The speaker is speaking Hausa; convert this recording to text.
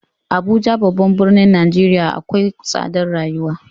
Abuja babban birnin Nijeriya akwai tsadar rayuwa.